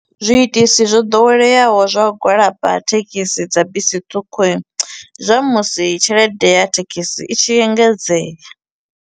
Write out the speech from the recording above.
Zwiitisi zwo ḓoweleaho zwa u gwalaba ha thekhisi dza bisi ṱhukhu i, ndi zwa musi tshelede ya thekhisi i tshi engedzea.